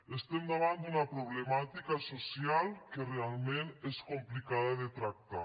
estem davant d’una problemàtica social que realment és complicada de tractar